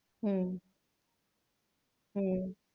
হম হম,